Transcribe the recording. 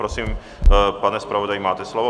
Prosím, pane zpravodaji, máte slovo.